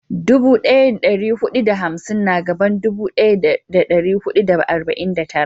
Dubu daya da dari hudu da hamsin na gaban dubu daya da dari hudu da arba'in da tara